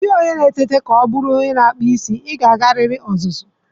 Ọ dịghị onye na-eteta ka ọ bụrụ onye na-akpụ isi, ị ga-agarịrị ọzụzụ.